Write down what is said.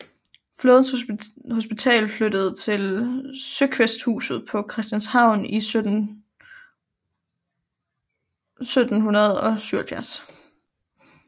Flådens hospital flyttede til Søkvæsthuset på Christianshavn i 1777